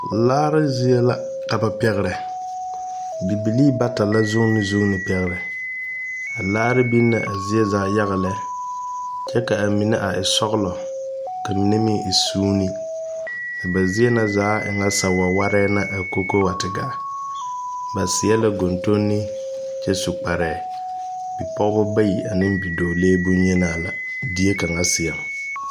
Laare zie la ka ba pɛgrɛ bibilii bata la zuune zuune pɛgrɛ a laare biŋ la a zie zaa yaga lɛ kyɛ ka a mine a e sɔglɔ ka mine meŋ e suune a ba zie na e ŋa sa wɛwɛrɛɛ na a ko ko wa te gaa ba seɛ ka gondonne kyɛ su kparɛɛ bipɔgebɔ bayi aneŋ dɔɔlee bonyenaa la die kaŋa seɛŋ.